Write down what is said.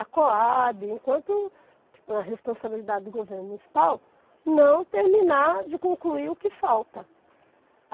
a Coabe, enquanto a responsabilidade do governo municipal, não terminar de concluir o que falta.